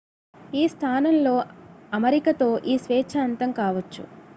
ఈ స్థానంలో అమరికతో ఈ స్వేచ్ఛ అంతం కావచ్చు